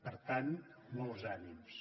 per tant molts ànims